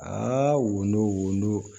Aa wo wo